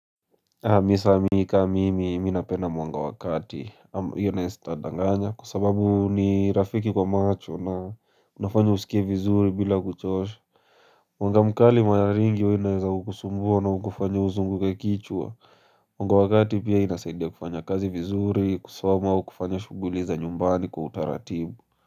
Mimi sasa mimi kama mimi napenda mwanga wakati hiyo nayo sitandanganya kwa sababu ni rafiki kwa macho na kunafanya usikie vizuri bila kuchosha mwanga mkali mara nyingi huwa inaeza kukusumbua na hukufanya uzunguke kichwa mwanga wakati pia inasaidia kufanya kazi vizuri kusoma au kufanya shughuli za nyumbani kwa utaratibu.